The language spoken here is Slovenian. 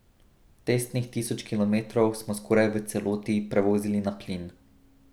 Testnih tisoč kilometrov smo skoraj v celoti prevozili na plin.